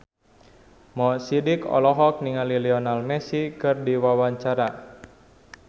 Mo Sidik olohok ningali Lionel Messi keur diwawancara